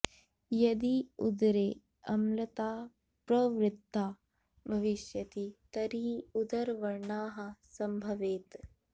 यदि उदरे अम्लता प्रवृद्धा भविष्यति तर्हि उदरव्रणाः सम्भवेत्